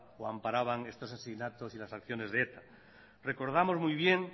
o amparaban estos asesinatos y las acciones de eta recordamos muy bien